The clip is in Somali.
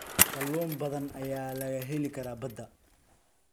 Kalluun badan ayaa laga heli karaa badda.